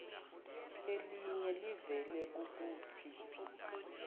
eliye livele kukuthi